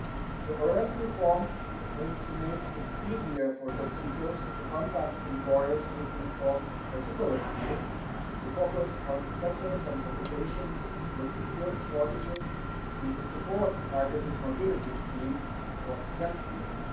The EURES reform aims to make it easier for jobseekers to contact employers who are looking for particular skills, to focus on sectors and occupations with skills shortages, and to support targeted mobility schemes for young people.